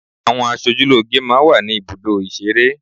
Àwọn asojúlóge máa ń wà ní ibùdó ìṣeré.